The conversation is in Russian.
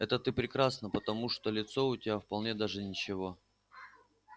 это ты прекрасно потому что лицо у тебя вполне даже ничего